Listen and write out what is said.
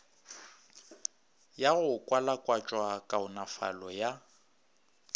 ya go kwalakwatša kaonafalo ya